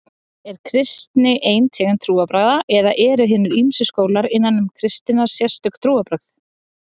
Er kristni ein tegund trúarbragða eða eru eru hinir ýmsu skólar innan kristninnar sérstök trúarbrögð?